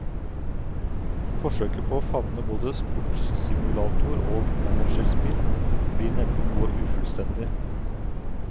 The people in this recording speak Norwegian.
Forsøket på å favne både sportssimulator og managerspill blir nemlig noe ufullstendig.